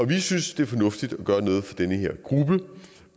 vi synes det er fornuftigt at gøre